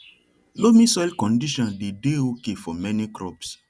loamy soil condition day dey okay for many crops